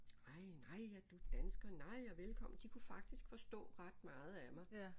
Ej nej er du dansker nej og velkommen de kunne faktisk forstå ret meget af mig